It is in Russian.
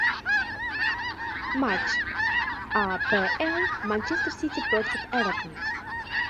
матч апл манчестер сити против эвертон